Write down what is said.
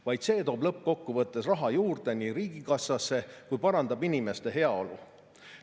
Vaid see toob lõppkokkuvõttes raha juurde riigikassasse ja parandab inimeste heaolu.